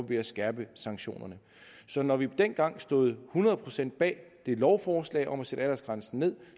ved at skærpe sanktionerne så når vi dengang stod hundrede procent bag lovforslaget om at sætte aldersgrænsen ned